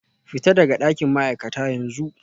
Fita daga dakin ma'aikata yanzu